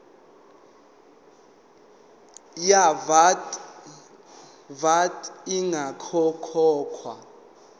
ye vat ingakakhokhwa